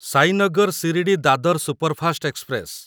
Sainagar Shirdi Dadar superfast express